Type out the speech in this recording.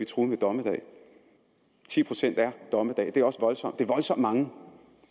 truet med dommedag ti procent er dommedag det er også voldsomt mange